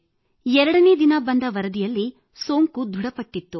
ಎರಡನೇ ದಿನ ಬಂದ ವರದಿಯಲ್ಲಿ ಸೋಂಕು ದೃಢಪಟ್ಟಿತ್ತು